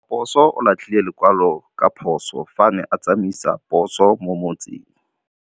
Raposo o latlhie lekwalô ka phosô fa a ne a tsamaisa poso mo motseng.